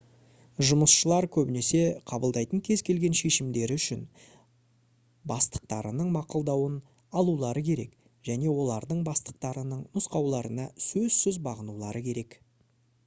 жұмысшылар көбінесе қабылдайтын кез келген шешімдері үшін бастықтарының мақұлдауын алулары керек және олардың бастықтарының нұсқауларына сөзсіз бағынулары керек